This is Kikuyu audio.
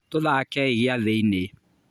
Tũthakei gĩathĩinĩ.